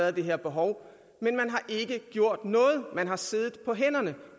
er det her behov men man har ikke gjort noget man har siddet på hænderne